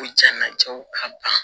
Ko jɛnnatigɛw ka ban